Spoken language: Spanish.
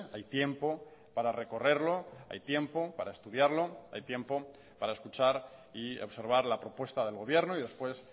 hay tiempo para recorrerlo hay tiempo para estudiarlo hay tiempo para escuchar y observar la propuesta del gobierno y después